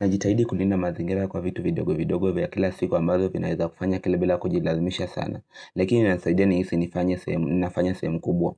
Najitahidi kulinda mazingira kwa vitu vidogo vidogo vya kila siku ambazo vinaeza kufanya kila bila kujilazimisha sana. Lakini nanisaidia nihisi nifanye semu nafanya semu kubwa.